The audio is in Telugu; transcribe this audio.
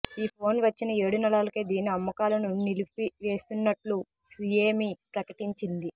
ఈ ఫోన్ వచ్చిన ఏడు నెలలకే దీని అమ్మకాలను నిలిపివేస్తున్నట్లు షియోమి ప్రకటించింది